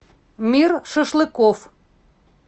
мир шашлыков